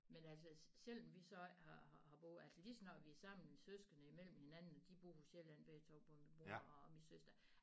Men altså selv når vi så har har har boet altså lige så snart vi er sammen mine søskende imellem hinanden og de bor på Sjælland begge to både min bror og min søster